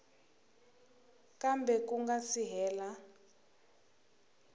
kambe ku nga si hela